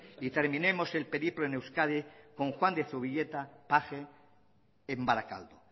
y terminemos el periplo en euskadi con juan de zubileta paje en barakaldo